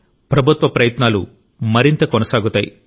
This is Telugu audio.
ప్రభుత్వ ప్రయత్నాలు మరింత కొనసాగుతాయి